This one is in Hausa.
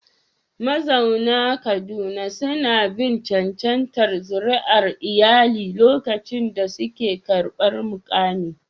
Mazauna Kaduna suna bin cancantar zuri'ar iyali lokacin da suke karɓar mukami.